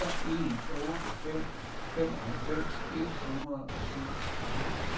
fire en otte fem femoghalvfems et hundrede og syvogtredive